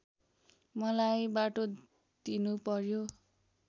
मलाई बाटो दिनुपर्‍यो